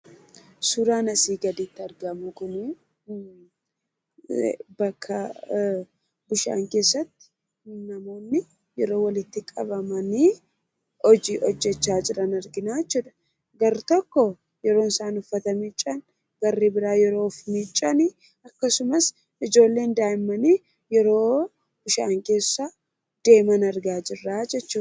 Suuraan asii gaditti argamu kun bakka bishaan keessatti namoonni iddoo walitti qabamanii hojiidhaaf jecha hojjachaa jiran argina jechuudha. Tokko yeroo isaan uffata miiccaa jiran warri biraan akkasumas ijoolleen daa'immanii yeroo bishaan keessa deemaa jiran argaa jirra jechuudha.